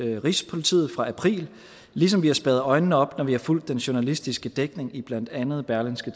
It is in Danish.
rigspolitiet fra april ligesom vi har spærret øjnene op når vi har fulgt den journalistiske dækning i blandt andet berlingske